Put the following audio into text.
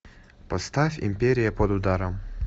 поставь империя под ударом